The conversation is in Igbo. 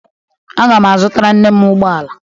A ga m azụtara nne m ụgbọala